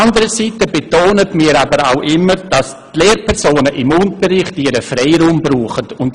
Anderseits betonen wir aber auch immer, dass die Lehrpersonen im Unterricht ihren Freiraum brauchen.